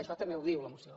això també ho diu la moció